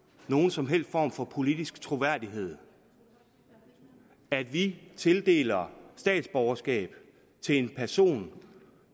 nogen som helst form for politisk troværdighed at vi tildeler statsborgerskab til en person